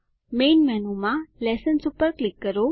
main મેનુમાં lessons ઉપર click કરો